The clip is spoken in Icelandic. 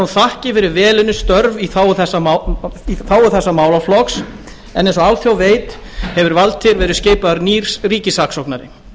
þakkir fyrir vel unnin störf í þágu þessa málaflokks en eins og alþjóð veit hefur valtýr verið skipaður nýr ríkissaksóknari